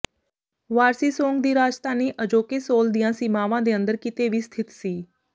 ਵਾਰਸੀਸੋਂਗ ਦੀ ਰਾਜਧਾਨੀ ਅਜੋਕੇ ਸੋਲ ਦੀਆਂ ਸੀਮਾਵਾਂ ਦੇ ਅੰਦਰ ਕਿਤੇ ਵੀ ਸਥਿਤ ਸੀ